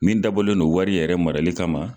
Min dabɔlen don wari yɛrɛ marali kama.